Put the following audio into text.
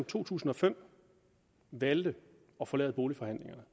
to tusind og fem valgte at forlade boligforhandlingerne